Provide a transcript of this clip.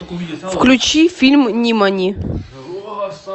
включи фильм нимани